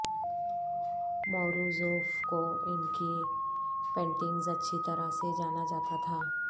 Morozov کو ان کی پینٹنگز اچھی طرح سے جانا جاتا تھا